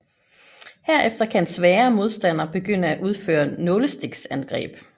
Herefter kan en svagere modstander begynde at udføre nålestiksangreb